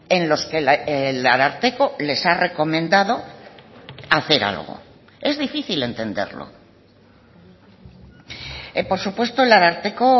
en los que el ararteko les ha recomendado hacer algo es difícil entenderlo por supuesto el ararteko